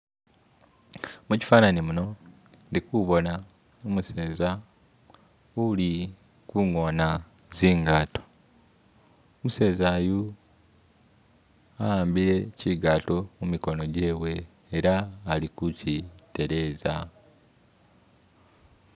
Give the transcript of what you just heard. mukyifanani muno ndikubona umuseza uli kungona tsingato umuseza yu awambile kyigaato mumikono gyewe ela alikukyitereza